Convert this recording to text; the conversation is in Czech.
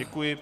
Děkuji.